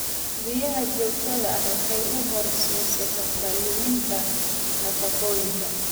Biyaha joogtada ah waxay u horseedi kartaa luminta nafaqooyinka.